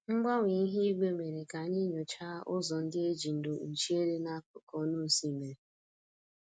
Mgbanwe ihu igwe mere ka anyị nyochaa ụzọ ndị e ji ndo kpuchie dị n'akụkụ ọnụ osimiri